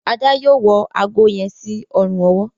Ada yóò wọ àgó yen sí Ọrùn ọwọ́.